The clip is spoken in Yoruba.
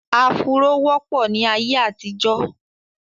afuró wọ́pọ̀ ní ayé àtijó